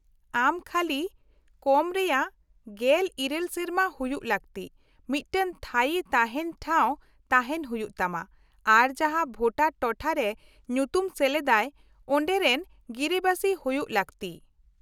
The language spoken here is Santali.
-ᱟᱢ ᱠᱷᱟᱹᱞᱤ ᱠᱚᱢ ᱨᱮᱭᱟᱜ ᱑᱘ ᱥᱮᱨᱢᱟ ᱦᱩᱭᱩᱜ ᱞᱟᱹᱠᱛᱤ , ᱢᱤᱫᱴᱟᱝ ᱛᱷᱟᱭᱤ ᱛᱟᱦᱮᱱ ᱴᱷᱟᱶ ᱛᱟᱦᱮᱱ ᱦᱩᱭᱩᱜ ᱛᱟᱢᱟ , ᱟᱨ ᱡᱟᱦᱟ ᱵᱷᱳᱴᱟᱨ ᱴᱚᱴᱷᱟᱨᱮ ᱧᱩᱛᱩᱢ ᱥᱮᱞᱮᱫ ᱟᱭ ᱚᱰᱮᱨᱮᱱ ᱜᱤᱨᱟᱹᱵᱟᱹᱥᱤ ᱦᱩᱭᱩᱜ ᱞᱟᱹᱠᱛᱤ ᱾